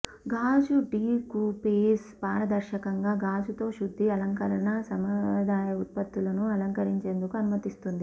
గాజు డీకూపేజ్ పారదర్శకంగా గాజుతో శుద్ధి అలంకరణ సంప్రదాయ ఉత్పత్తులను అలంకరించేందుకు అనుమతిస్తుంది